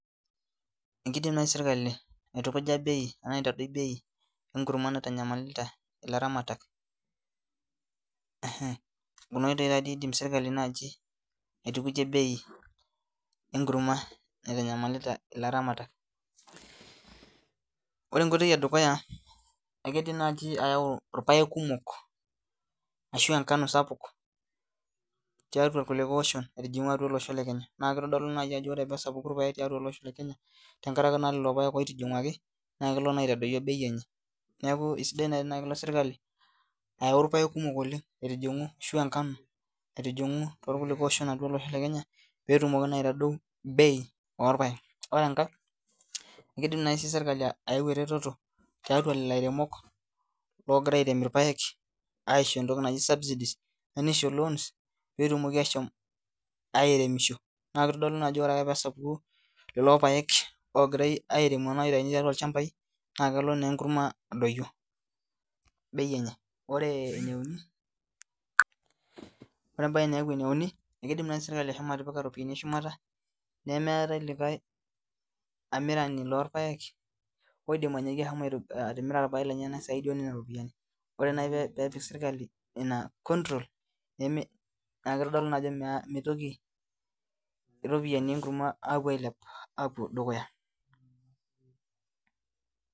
Ekidim naai sirkali aitukuja bei enaa aitadoi bei enkurma naitanyamalita ilaramatak ehe kuna oitoi taadei idim sirkali naaji aitukujie bei enkurma naitanyamalita ilaramatak ore enkoitoi edukuya ekidim naaji ayau irpayek kumok ashu enkano sapuk tiatua irkulikae oshon aitijing'u atua olosho le kenya naa kitodolu naji ajo ore pesapuku irpayek tolosho le kenya tenkarake naa lelo payek oitijing'uaki naa kelo naa aitadoyio bei enye niaku isidai naai enakelo sirkali ayau irpayek kumok oleng aitijing'u ashu enkano aitijing'u torkulikae oshon atua olosho le kenya petumoki naa aitadou bei orpayek ore enkae ekidim naai sirkali sii ayau eretoto tiatua lelo airemok ogira airem irpayek aisho entoki naji subsidies nisho loans petumoki aashom airemisho naa kitodolu naa ajo ore ake pesapuku lelo paek ogirae airemu enaa aitai tiatua ilchambai naa kelo nenkurma adoyio bei enye ore eneuni ore embaye naaku eneuni ekidim naaji sirkali ashomo atipika iropiyiani eshumata nemeetae likae amirani lorpayek oidim anyaaki ahomo aito atimira irpayek lenyena saidi onena ropiani ore naai peepik sirkali ina control neme naa kitodolu naa ajo mitoki iropiani enkurma aapuo ailep apuo dukuya.